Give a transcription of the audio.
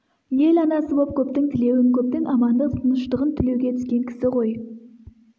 ел анасы боп көптің тілеуін көптің амандық тыныштығын тілеуге түскен кісі ғой